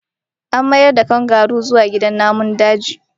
A mayar da kangaroo zuwa gidan namun daji!